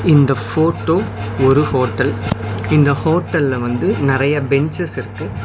இந்த ஃபோட்டோ ஒரு ஹோட்டல் இந்த ஹோட்டல்ல வந்து நெறய பெஞ்சஸ் இருக்கு.